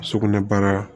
Sugunɛ baara